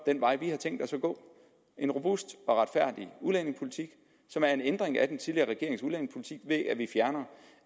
vej vi har tænkt os at gå en robust og retfærdig udlændingepolitik som er en ændring af den tidligere regerings udlændingepolitik ved at vi fjerner